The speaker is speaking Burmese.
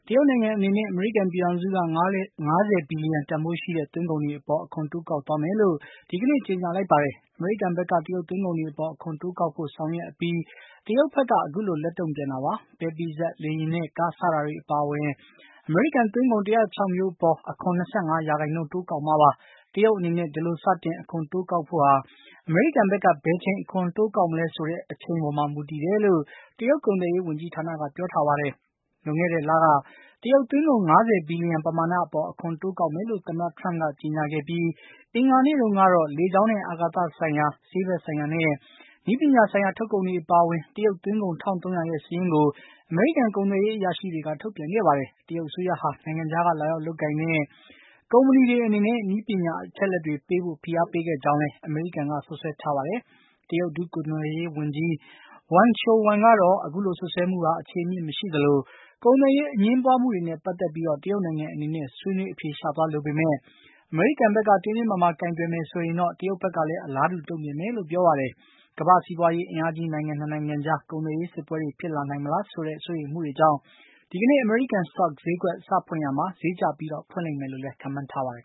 တရုတ်နိုင်ငံအနေနဲ့ အမေရိကန်ပြည်ထောင်စုက ၅၀ ဘီလျံတန်ဖိုးရှိတဲ့ သွင်းကုန်တွေ အပေါ် အခွန်တိုးကောက်သွားမယ်လို့ ဒီကနေ့ ကြေညာလိုက်ပါတယ်။ အမေရိကန်ဘက်က တရုတ်သွင်းကုန်တွေအပေါ် အခွန်တိုးကောက်ဖို့ ဆောင်ရွက်အပြီး တရုတ်ဘက်က အခုလို လက်တုံ့ပြန်တာပါ။ ပဲပိစပ်၊ လေယာဉ်နဲ့ ကား စတာတွေအပါအဝင် အမေရိကန်သွင်းကုန် ၁၀၆ မျိုးအပေါ် အခွန် ၂၅ ရာခိုင်နှုန်းတိုးကောက်မှာပါ။ တရုတ်အနေနဲ့ ဒီလို စတင် အခွန်တိုးကောက် ဖို့ဟာ အမေရိကန်ဘက်က ဘယ်ချိန် အခွန်တိုးကောက် မလဲဆိုတဲ့အပေါ်မှာ မူတည်တယ်လို့ တရုတ်ကုန်သွယ်ရေးဝန်ကြီးဌာနက ပြောထားပါတယ်။ လွန်ခဲ့တဲ့လက တရုတ်သွင်းကုန် ၅၀ ဘီလျံ ပမာဏအပေါ် အခွန်တိုးကောက်မယ်လို့ သမ္မတ ထရမ့်က ကြေညာခဲ့ပြီး အင်္ဂါနေ့တုန်းကတော့ လေကြောင်းနဲ့ အာကာသဆိုင်ရာ၊ ဆေးဘက်ဆိုင်ရာနဲ့ နည်းပညာဆိုင်ရာ ထုတ်ကုန်တွေအပါအဝင် တရုတ်သွင်းကုန် ၁၃၀၀ ရဲ့ စာရင်းကို အမေရိကန် ကုန်သွယ်ရေးအရာရှိတွေက ထုတ်ပြန်ခဲ့ပါတယ်။ တရုတ်အစိုးရဟာ နိုင်ငံခြားက လာရောက်လုပ်ကိုင်တဲ့ ကုမ္ပဏီတွေအနေနဲ့ နည်းပညာအချက်အလက်တွေ ပေးဖို့ ဖိအားပေးခဲ့ကြောင်းလည်း အမေရိကန်က စွပ်စွဲပါတယ်။ တရုတ် ဒုကုန်သွယ်ရေးဝန်ကြီး Wang Shouwen က အခုလိုစွပ်စွဲမှုဟာ အခြေအမြစ်မရှိသလို ကုန်သွယ်ရေး အငြင်းပွါးမှုတွေနဲ့ ပတ်သက်ပြီး တရုတ်နိုင်ငံအနေနဲ့ ဆွေးနွေးအဖြေရှာသွားလိုပေမယ့် အမေရိကန်ဘက်က တင်းတင်းမာမာကိုင်တွယ်မယ်ဆိုရင်တော့ တရုတ်ဘက်ကလည်း အလားတူ တုံ့ပြန်မယ်လို့ ပြောပါတယ်။ ကမ္ဘာ့စီးပွါးရေးအင်းအားကြီး နိုင်ငံ ၂ နိုင်ငံကြား ကုန်သွယ်ရေးစစ်ပွဲတွေ ဖြစ်လာနိုင်မလားဆိုတဲ့ စိုးရိမ်မှုတွေကြောင့် ဒီကနေ့ အမေရိကန် စတော့ဈေးကွက်တွေ စဖွင့်ရာမှာ ဈေးကျပြီး ဖွင့်လိမ့်မယ်လို့လည်း ခန့်မှန်းထားပါတယ်